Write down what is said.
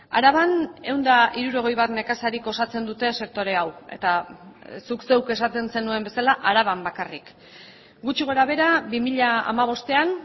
araban ehun eta hirurogei bat nekazarik osatzen dute sektore hau eta zuk zeuk esaten zenuen bezala araban bakarrik gutxi gorabehera bi mila hamabostean